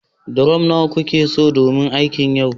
durom nawa kikeso domin yin aikin yau